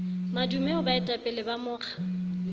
madume ho boetapele ba mokga